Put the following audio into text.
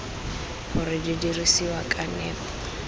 gore di dirisiwa ka nepo